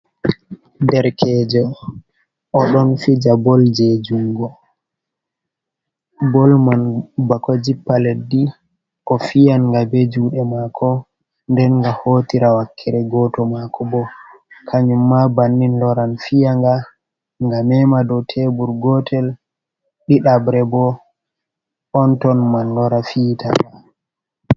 Derkejo oɗon fija bol je jungo, bol man bako jippa leddi ofiyanga be juuɗe mako, nden ga hotira wakkere goto mako bo, kanyumma bannin loran fiyanga nga mema dow tebur gotel, ɗiɗabre bo onton man loora fiita nga.